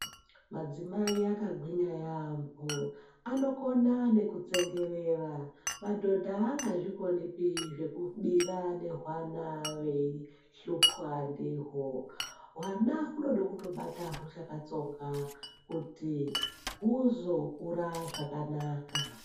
Madzimai akagwinya yaamho, anokona nekutsengerera, madhodha angazvikonipi zvekubira nehwana veihlupwa ndihwo. Hwana kunoda kutobata huchakatsonga kuti huzokura zvakanaka.